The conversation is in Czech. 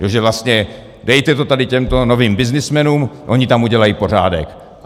Že vlastně: Dejte to tady těmto novým byznysmenům, oni tam udělají pořádek!